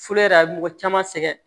Fula yɛrɛ a bɛ mɔgɔ caman sɛgɛn